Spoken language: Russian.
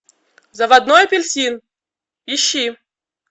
заводной апельсин ищи